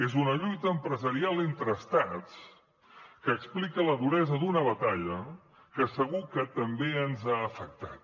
és una lluita empresarial entre estats que explica la duresa d’una batalla que segur que també ens ha afectat